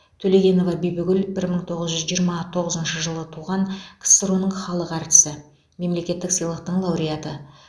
төлегенова бибігүл бір мың тоғыз жүз жиырма тоғызыншы жылы туған ксро ның халық әртісі мемлекеттік сыйлықтың лауреаты